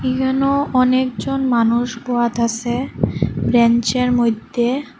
এখানেও অনেকজন মানুষ বহাত আসে ব্রেঞ্চের -এর মইদ্যে ।